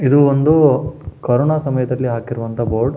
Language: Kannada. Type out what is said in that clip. ಇದು ಒಂದು ಕೊರೊನ ಸಮಯದಲ್ಲಿ ಹಾಕಿರುವಂಥ ಬೋರ್ಡ್ --